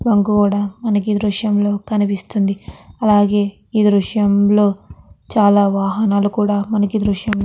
bunk కూడా మనకి ఈ దృశ్యం లో కనిపిస్తుంది అలాగే ఈ దృశ్యంలో చాలా వాహనాలు కూడా మనకి ఈ దృశ్యం --